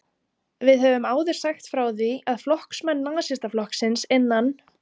Við höfum áður sagt frá því, að flokksmenn Nasistaflokksins innan